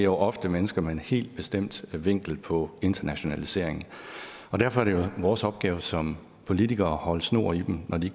jo ofte mennesker med en helt bestemt vinkel på internationalisering derfor er det jo vores opgave som politikere at holde snor i dem når de